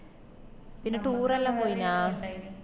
പിന്നെ tour എല്ലാം കയിഞ്ഞ